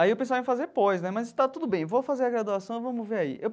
Aí eu pensava em fazer pós né, mas está tudo bem, vou fazer a graduação e vamos ver aí.